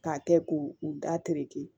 K'a kɛ k'u u da tereke